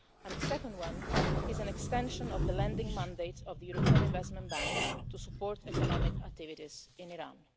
The second is an extension of the lending mandate of the European Investment Bank to support economic activities in Iran.